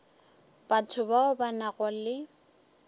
batho bao ba nago le